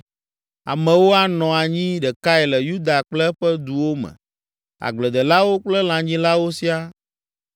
Amewo anɔ anyi ɖekae le Yuda kple eƒe duwo me, agbledelawo kple lãnyilawo siaa.